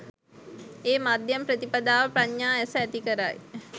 ඒ මධ්‍යම ප්‍රතිපදාව, ප්‍රඥා ඇස ඇති කරයි.